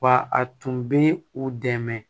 Wa a tun bɛ u dɛmɛ